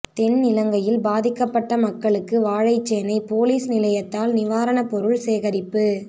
தென்னிலங்கையில் பாதிக்கப்பட்ட மக்களுக்கு வாழைச்சேனை பொலிஸ் நிலையத்தால் நிவாணப் பொருள் சேகரிப்பு